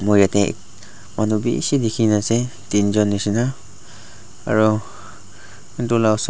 moi yate manu bi bishi dekhi na ase tin jon deshi na aro etu laga osor.